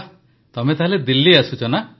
ବାଃ ତମେ ତାହେଲେ ଦିଲ୍ଲୀ ଆସୁଛ